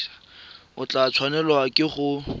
o tla tshwanelwa ke go